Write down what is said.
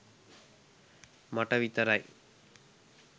මට විතරයි